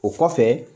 O kɔfɛ